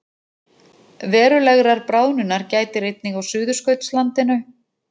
Verulegrar bráðnunar gætir einnig á Suðurskautslandinu